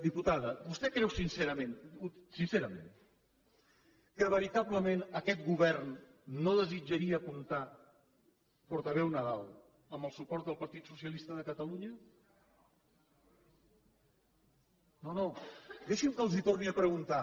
diputada vostè creu sincerament sincerament que veritablement aquest govern no desitjaria comptar portaveu nadal amb el suport del partit socialista de catalunya no no deixin que els ho torni a preguntar